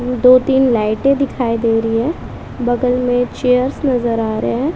दो तीन लाइटें दिखाई दे रही है बगल में चेयर्स नजर आ रहे हैं।